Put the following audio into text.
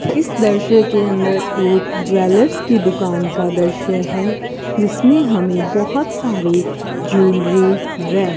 इस दृश्य के अंदर एक ज्वेलर्स की दुकान का दृश्य है जिसमें हमें बहोत सारी ज्वेलरी व --